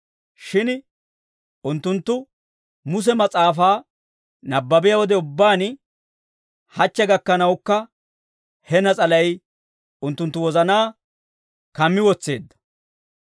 Shin unttunttu Muse mas'aafaa nabbabiyaa wode ubbaan hachche gakkanawukka, he nas'alay unttunttu wozanaa kammi wotseedda.